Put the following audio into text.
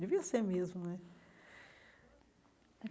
Devia ser mesmo, né?